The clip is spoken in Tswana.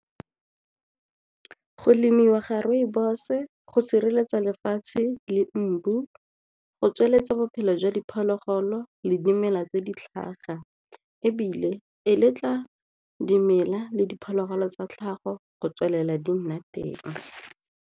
Go lemiwa ga rooibos-e go sireletsa lefatshe le go tsweletsa bophelo jwa diphologolo le dimela tse di tlhaga ebile e letla dimela le diphologolo tsa tlhago go tswelela di nna teng.